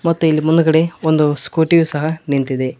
ತಿಳಿ ಮುಂದುಗಡೆ ಒಂದು ಸ್ಕೂಟಿ ಸಹ ನಿಂತಿದೆ.